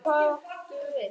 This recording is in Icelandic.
Og hvað áttu við?